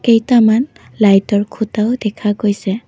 কেইটামান লাইটৰ খুঁটাও দেখা গৈছে।